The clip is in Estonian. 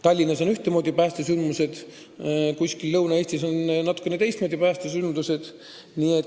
Tallinnas on ühtemoodi päästesündmused, kuskil Lõuna-Eestis natukene teistsugused.